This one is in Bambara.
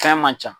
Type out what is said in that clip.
Fɛn man ca